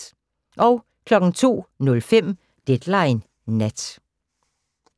02:05: Deadline Nat